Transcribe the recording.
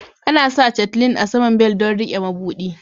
Ana sa chatelaine a saman bel don rike mabudi.